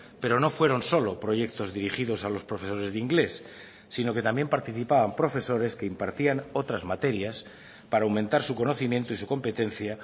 pero no fueron solo proyectos dirigidos a los profesores de inglés sino que también participaban profesores que impartían otras materias para aumentar su conocimiento y su competencia